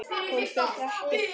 Hún fer ekkert út!